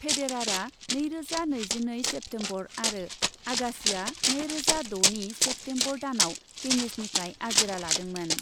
फेडेरारआ नैरोजा नैजिनैनि सेप्तेम्बर आरो आगासिआ नैरोजा द'नि सेप्तेम्बर दानआव टेनिसनिफ्राय आजिरा लादोंमोन।